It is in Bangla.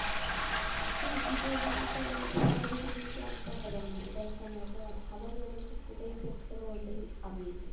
হ্যাঁ শীতের দিনে তো সহজে তুমি ক্লান্ত হবেনা এটা একটা মজা। আর খাবার দাবার তো যেটাই test করবা ওটাই amazing.